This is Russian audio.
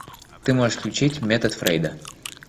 ты можешь включить метод фрейда